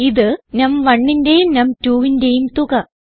ഇത് num1ന്റെയും num2ന്റെയും തുക